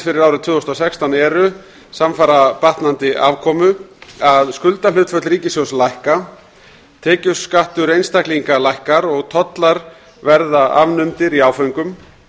fyrir árið tvö þúsund og sextán eru samfara batnandi afkomu að skuldahlutföll ríkissjóðs lækka tekjuskattur einstaklinga lækkar og tollar verða afnumdir í áföngum